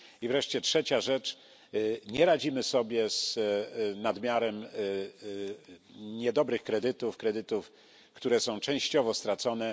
I wreszcie trzecia rzecz nie radzimy sobie z nadmiarem niedobrych kredytów kredytów, które są częściowo stracone.